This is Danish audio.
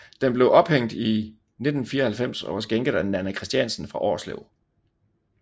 Den blev ophængt i 1994 og var skænket af Nanna Christiansen fra Årslev